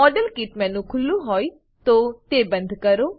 model kit menu ખુલ્લું હોય તો તેને બંધ કરો